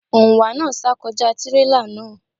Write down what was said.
Òǹwà náà sá kọjá tírélà náà.